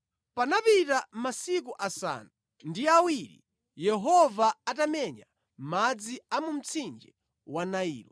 Panapita masiku asanu ndi awiri Yehova atamenya madzi a mu mtsinje wa Nailo.